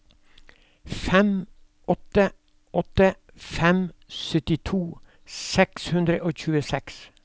fem åtte åtte fem syttito seks hundre og tjueseks